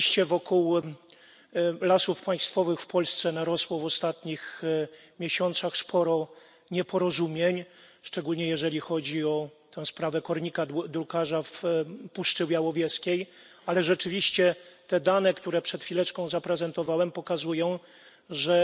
Rzeczywiście wokół Lasów Państwowych w Polsce narosło w ostatnich miesiącach sporo nieporozumień, szczególnie jeżeli chodzi o tę sprawę kornika drukarza w Puszczy Białowieskiej. Ale te dane, które przed chwileczką zaprezentowałem, pokazują, że